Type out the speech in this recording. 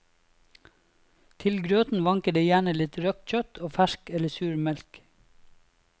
Til grøten vanker det gjerne litt røkt kjøtt og fersk eller sur melk.